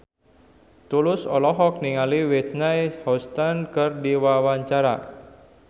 Tulus olohok ningali Whitney Houston keur diwawancara